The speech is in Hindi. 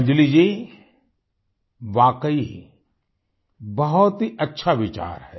अंजलि जी वाकई बहुत ही अच्छा विचार है